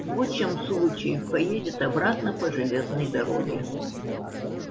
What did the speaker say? в лучшем случае поедет обратно по железной дороге